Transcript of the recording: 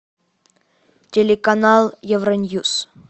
телеканал евро ньюс